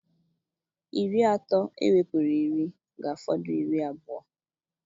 Iri atọ ewepụrụ iri ga-afọdụ iri abụọ.